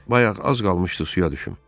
Bayaq az qalmışdı suya düşüm.